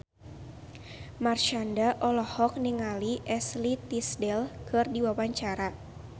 Marshanda olohok ningali Ashley Tisdale keur diwawancara